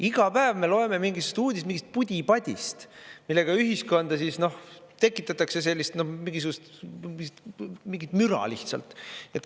Iga päev me loeme uudistest mingist pudi-padist, millega ühiskonda tekitatakse mingisugust müra lihtsalt.